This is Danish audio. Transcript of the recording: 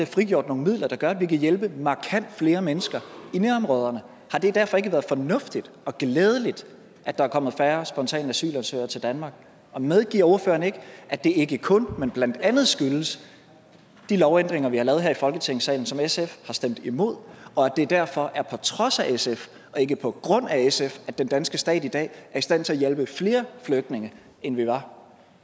frigjort nogle midler der gør at vi kan hjælpe markant flere mennesker i nærområderne har det derfor ikke været fornuftigt og glædeligt at der er kommet færre spontane asylansøgere til danmark og medgiver ordføreren ikke at det ikke kun men blandt andet skyldes de lovændringer vi har lavet her i folketingssalen som sf har stemt imod og at det derfor er på trods af sf og ikke på grund af sf at den danske stat i dag er i stand til at hjælpe flere flygtninge end vi var